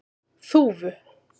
Þúfu